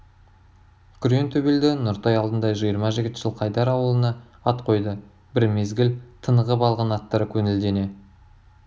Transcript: күрең төбелді нұртай алдында жиырма жігіт жылқайдар аулына ат қойды бір мезгіл тынығып алған аттар көңілдене